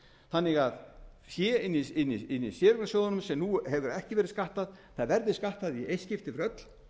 þannig að fé inni í séreignarsjóðunum sem nú hefur ekki verið skattað verði skattað í eitt skipti fyrir öll